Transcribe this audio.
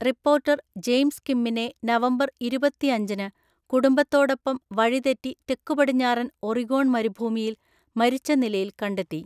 Reporter James കിമ്മിനെ November ഇരുപത്തിഅഞ്ചിന് കുടുംബത്തോടൊപ്പം വഴിതെറ്റി തെക്കുപടിഞ്ഞാറൻ ഒറിഗോൺ മരുഭൂമിയിൽ മരിച്ച നിലയിൽ കണ്ടെത്തി.